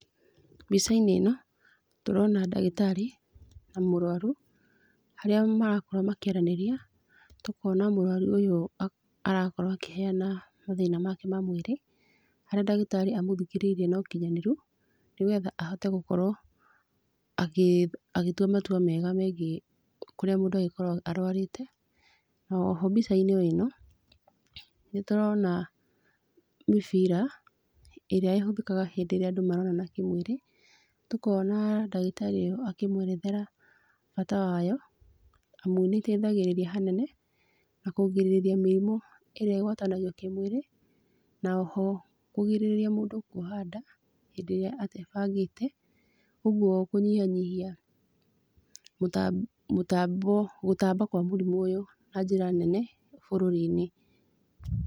Mbicainĩ ĩno, tũrona ndagĩtarĩ, na mũrũaru, harĩa marakorwo makĩaranĩria, tũkona mũrũaru ũyũ arakorwo akĩheana mathĩna make ma mwĩrĩ harĩa ndagĩtarĩ amũthikĩrĩirie no ũkinyanĩru nĩgetha ahote gũkorwo, agĩ agĩtua matua mega megiĩ kũrĩa mũndũ angĩkorwo arwarĩte , na oho mbicainĩ o ĩno nĩ tũrona, mĩbira ĩrĩa ĩhũthĩkaga rĩrĩa andũ maronana kĩmwĩrĩ, tũkona ndagĩtarĩ ũyũ akĩmwerethera, bata wayo amu nĩ ĩteithagĩrĩria hanene nakũgirĩria mĩrimũ ĩrĩa ĩgwatagio kĩmwĩrĩ, na oho kũgirĩrĩria mũndũ kũoha nda, hĩndĩ ĩrĩa atebangĩte ũgũo kũnyihanyihia gũta gũtambwo gũtamba kwa mũrimũ ũyũ na njĩra nene, bũrũri-inĩ.